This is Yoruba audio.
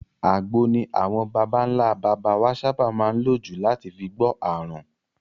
Àgbo ni àwọn babańlá baba wa sábà má n lò jù láti fi gbọ́ àrùn.